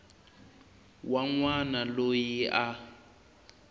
wa n wana loyi a